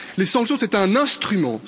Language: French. Les sanctions sont un instrument.